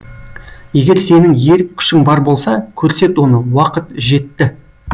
егер сенің ерік күшің бар болса көрсет оны уақыт жетті